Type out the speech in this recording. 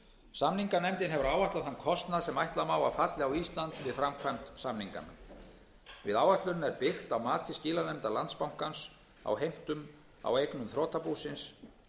samninganefndin hefur áætlað þann kostnað sem ætla má að falli á ísland við framkvæmd samninganna við áætlunina er byggt á mati skilanefndar landsbankans á heimtum á eignum þrotabúsins